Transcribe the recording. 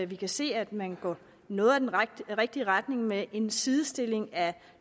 vi kan se at man går noget i den rigtige retning med en sidestilling af